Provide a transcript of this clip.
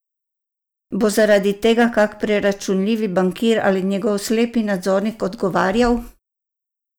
Bo zaradi tega kak preračunljivi bankir ali njegov slepi nadzornik odgovarjal?